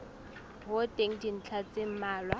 ho teng dintlha tse mmalwa